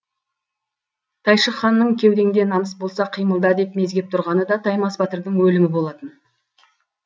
тайшық ханның кеудеңде намыс болса қимылда деп мезгеп тұрғаны да таймас батырдың өлімі болатын